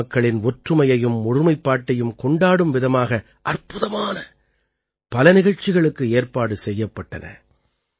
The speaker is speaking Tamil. நாட்டுமக்களின் ஒற்றுமையையும் ஒருமைப்பாட்டையும் கொண்டாடும் விதமாக அற்புதமான பல நிகழ்ச்சிகளுக்கு ஏற்பாடு செய்யப்பட்டன